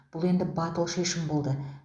бұл енді батыл шешім болды